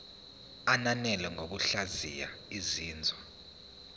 ananele ngokuhlaziya izinzwa